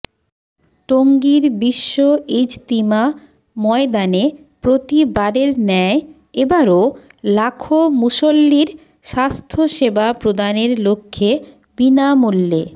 টঙ্গীর বিশ্ব ইজতিমা ময়দানে প্রতিবারের ন্যায় এবারো লাখো মুসল্লির স্বাস্থ্যসেবা প্রদানের লক্ষ্যে বিনামূল্যে